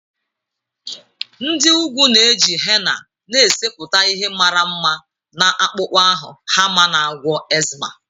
Nd ị ugwu na-eji henna na-esepụta ihe mara mma na akpụkpọ ahụ ha ma na-agwọ eczema.